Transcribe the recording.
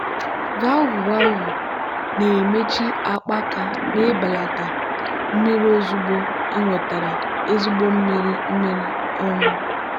valvụ valvụ na-emechi akpaaka na-ebelata mmiri ozugbo enwetara ezigbo mmiri mmiri. um